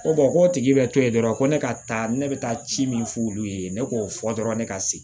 Ko k'o tigi bɛ to yen dɔrɔn ko ne ka taa ne bɛ taa ci min f'olu ye ne k'o fɔ dɔrɔn ne ka se